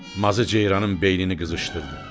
Mazı ceyranın beynini qızışdırdı.